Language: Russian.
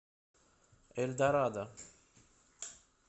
эльдорадо